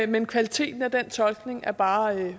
men kvaliteten af den tolkning er bare